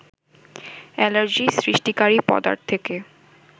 allergy সৃষ্টিকারী পদার্থকে